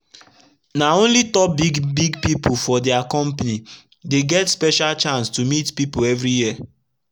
na only top big big pipu for dia compani dey get special chance to meet pipu everi year